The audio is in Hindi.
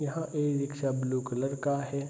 यहां ई-रिक्शा ब्लू कलर का है।